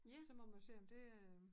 Så må man se om det øh